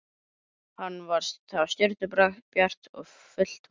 Það var stjörnubjart og fullt tungl.